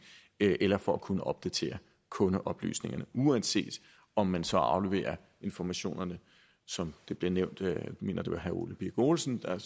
eller for at kunne opdatere kundeoplysningerne uanset om man så afleverer informationerne som det blev nævnt jeg mener det var herre ole birk olesen der